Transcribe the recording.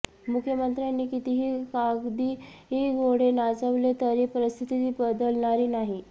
मुख्यमंत्र्यांनी कितीही कागदी घोडे नाचवले तरी परिस्थिती बदलणारी नाही